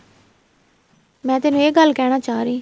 ਮੈਂ ਤੈਨੂੰ ਇਹ ਗੱਲ ਕਹਿਣਾ ਚਾਹ ਰਹੀ